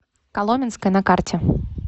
коломенское на карте